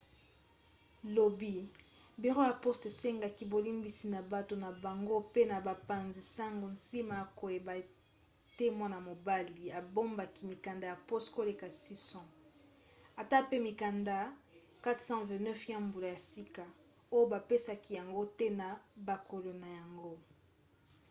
lobi biro ya poste esengaki bolimbisi na bato na bango pe na bapanzi-sango nsima ya koyeba ete mwana-mobali abombaki mikanda ya poste koleka 600 ata pe mikanda 429 ya mbula ya sika oyo bapesaki yango te na bakolo na yango